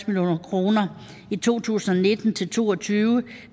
million kroner i to tusind og nitten til to og tyve